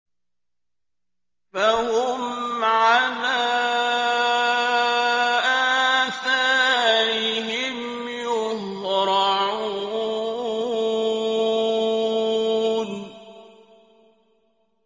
فَهُمْ عَلَىٰ آثَارِهِمْ يُهْرَعُونَ